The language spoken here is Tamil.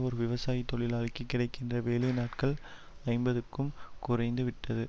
ஒரு விவசாய தொழிலாளிக்கு கிடைக்கின்ற வேலை நாட்கள் ஐம்பதுக்கும் குறைந்துவிட்டது